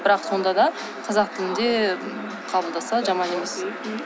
бірақ сонда да қазақ тілінде қабылдаса жаман емес